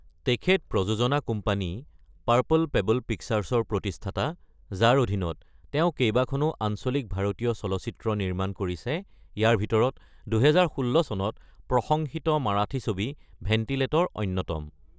তেখেত প্ৰযোজনা company Purple Pebble পিকচাৰৰ প্ৰতিষ্ঠাতা, যাৰ অধীনত তেওঁ কেইবাখনো আঞ্চলিক ভাৰতীয় চলচ্চিত্ৰ নিৰ্মাণ কৰিছে, ইয়াৰ ভিতৰত ২০১৬ চনত প্ৰশংসিত মাৰাঠী ছবি ভেণ্টিলেটৰ অন্যতম।